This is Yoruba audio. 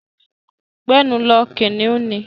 Gbẹ́nu lọ! Kìnnìún ni.